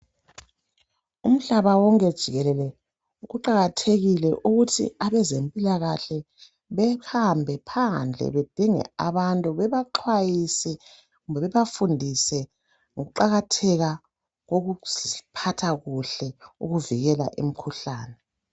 Umhlaba wonke jikelele kuqakathekile ukuthi abezempilakahle behambe phandle bedinge abantu bebaxwayise kumbe bebafundise ngokuqakatheka kokuziphatha kuhle ukuvikela imikhuhlane.